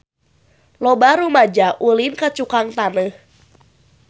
Loba rumaja ulin ka Cukang Taneuh